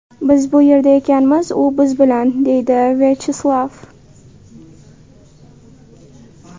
Biz bu yerda ekanmiz, u biz bilan”, deydi Vyacheslav.